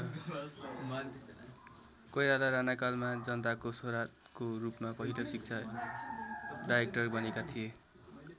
कोइराला राणाकालमा जनताको छोराको रूपमा पहिलो शिक्षा डाइरेक्टर बनेका थिए।